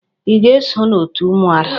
Ị ga-eso n'òtù ụmụada?